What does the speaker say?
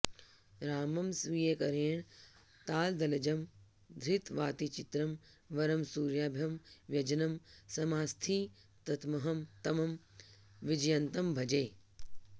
रामं स्वीयकरेण तालदलजं धृत्वातिचित्रं वरं सूर्याभं व्यजनं समास्थितमहं तं विजयन्तं भजे